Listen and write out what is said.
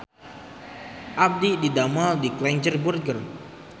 Abdi didamel di Klenger Burger